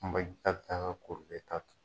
kunba in ka bɛ taa ka kɔrilen ta tugun.